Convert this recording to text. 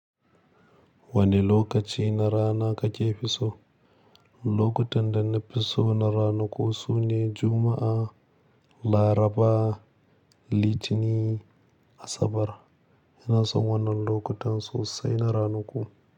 Wane lokaci na rana kake fi so? Lokutan da na fi so na ranaku sune Juma'a, Laraba, Litini, Asabar. Ina son wannan lokutan sosai na ranaku.